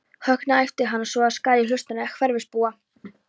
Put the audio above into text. Högna, æpti á hann svo að skar í hlustir hverfisbúa.